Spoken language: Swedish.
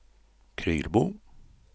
Krylbo